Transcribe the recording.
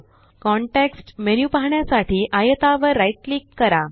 context menu पाहण्यासाठी आयता वर राइट क्लिक करा